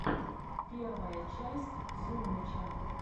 первая часть зумыча